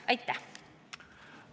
Aitäh!